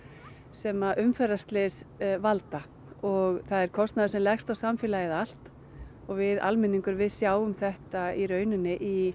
sem umferðarslys valda og það er kostnaður sem leggst á samfélagið allt við almenningur við sjáum þetta í rauninni í